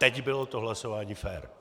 Teď bylo to hlasování fér.